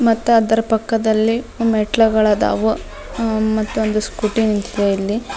ಮತ್ತ ಅದರ ಪಕ್ಕದಲ್ಲಿ ಮೆಟ್ಟುಗಳದಾವ ಮತ್ತೊಂದು ಸ್ಕೂಟಿ ನಿಂತಿದೆ ಅಲ್ಲಿ.